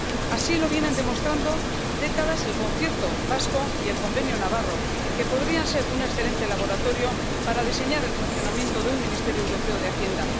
Así lo vienen demostrando décadas el concierto vasco y el convenio navarro, que podrían ser un excelente laboratorio para diseñar el funcionamiento de un ministerio europeo de Hacienda.